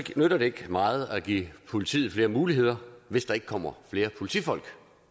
nytter det ikke meget at give politiet flere muligheder hvis der ikke kommer flere politifolk